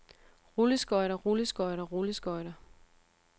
rulleskøjter rulleskøjter rulleskøjter